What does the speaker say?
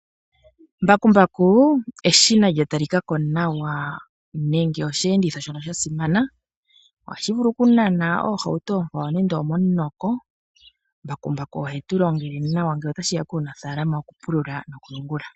Mbakumbaku, eshina lya talika ko nawa nenge oshi enditho shono sha simana. Ohashi vulu oku nana oohauto oonkwawo nando omo mu noko. Mbakumbaka ohetu longele nawa ngele ota shiya puunafaalama woku pulula noku yungula.